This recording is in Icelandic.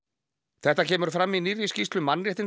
þetta kemur fram í nýrri skýrslu